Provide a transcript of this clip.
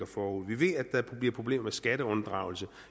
forude vi ved at der bliver problemer med skatteunddragelse